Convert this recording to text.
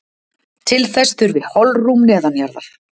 Til þess þurfi holrúm neðanjarðar.